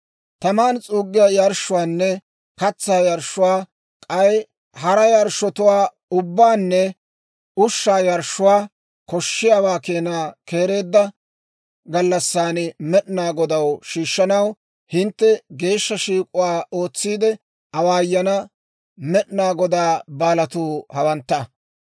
« ‹Taman s'uuggiyaa yarshshuwaanne katsaa yarshshuwaa, k'ay hara yarshshotuwaa ubbaanne ushshaa yarshshuwaa, koshshiyaawaa keenaa keereedda gallassan Med'inaa Godaw shiishshanaw, hintte geeshsha shiik'uwaa ootsiide awaayana Med'inaa Godaa baalatuu hawantta.